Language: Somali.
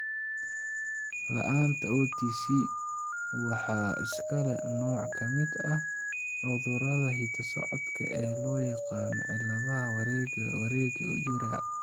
La'aanta OTC waxaa iska leh nooc ka mid ah cudurrada hidda-socodka ee loo yaqaanno cilladaha wareegga wareegga urea.